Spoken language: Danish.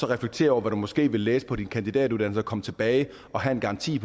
reflektere over hvad du måske vil læse på din kandidatuddannelse og komme tilbage og have en garanti